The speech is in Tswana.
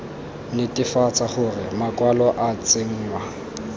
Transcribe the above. netefatsa gore makwalo a tsenngwa